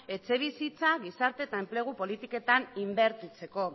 etxebizitza gizarte eta enplegu politiketan inbertitzeko